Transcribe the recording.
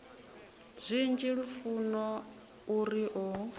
zwinzhi lufuno u ri o